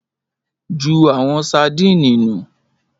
Jú awon sadíìnì nu.